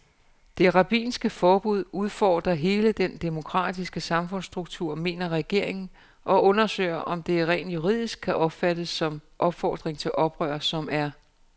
Det rabbinske forbud udfordrer hele den demokratiske samfundsstruktur, mener regeringen og undersøger, om det rent juridisk kan opfattes som opfordring til oprør, som er